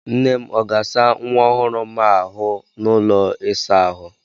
Nnem ọ ga-asa nwa ọhụrụ m a ahụ n'ụlọ ịsa ahụ?